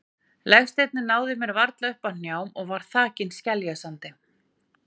Legsteinninn náði mér varla upp að hnjám og var þakinn skeljasandi.